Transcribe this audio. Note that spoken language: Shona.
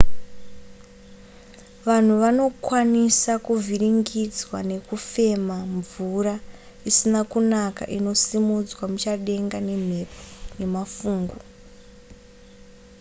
vanhu vanokwanisa kuvhiringidzwa nekufema mvura isina kunaka inosimudzwa muchadenga nemhepo nemafungu